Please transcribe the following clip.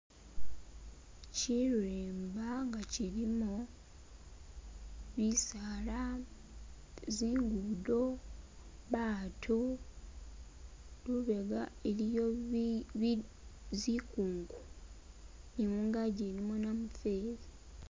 Shirimba nga shilimo bisaala, zingudo, baatu, lubega iliyo bi bi zikungu ni mugangi ilimo namufeli.